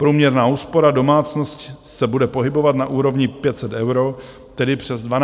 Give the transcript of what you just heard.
Průměrná úspora domácnosti se bude pohybovat na úrovni 500 eur, tedy přes 12 000 korun.